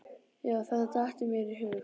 Já þetta datt mér í hug.